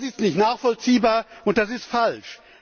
Das ist nicht nachvollziehbar, und das ist falsch.